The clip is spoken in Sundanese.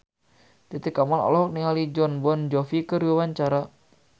Titi Kamal olohok ningali Jon Bon Jovi keur diwawancara